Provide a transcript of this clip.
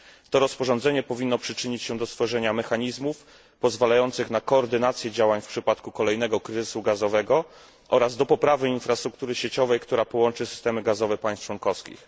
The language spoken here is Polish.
To rozporządzenie powinno przyczynić się do stworzenia mechanizmów pozwalających na koordynację działań w przypadku kolejnego kryzysu gazowego oraz do poprawy infrastruktury sieciowej, która połączy systemy gazowe państw członkowskich.